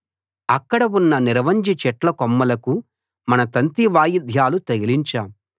అక్కడ ఉన్న నిరవంజి చెట్ల కొమ్మలకు మన తంతివాయిద్యాలు తగిలించాం